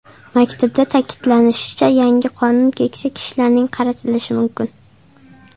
Maktubda ta’kidlanishicha, yangi qonun keksa kishilarga qaratilishi mumkin.